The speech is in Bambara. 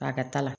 A ka ta la